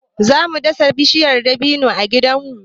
Za mu dasa bishiyar dabino a gidanmu.